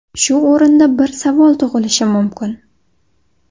Shu o‘rinda bir savol tug‘ilishi mumkin.